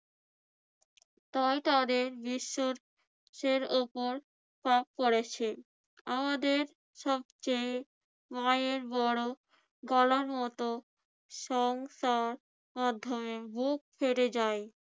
তাই তাদের বিশ্বের~ সের উপর চাপ পড়েছে। আমাদের সবচেয়ে মায়ের বড় গলার মত সংসার মাধ্যমে বুক ফেটে যায়